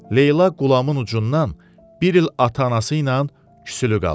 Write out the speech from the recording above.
Leyla Qulamın ucundan bir il ata-anası ilə küsülü qalıb.